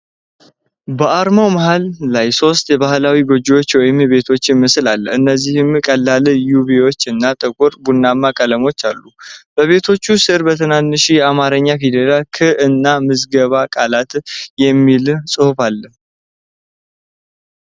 በአርማው መሃል ላይ የሶስት ባህላዊ ጎጆዎች ወይም ቤቶች ምስል አለ፤ እነዚህም ቀላል ቢዩዊ እና ጥቁር ቡናማ ቀለሞችን አሉ። በቤቶቹ ስር በትናንሽ የአማርኛ ፊደላት 'ክ' እና 'ምዝገበ ቃላት' የሚል ጽሑፍ አለ።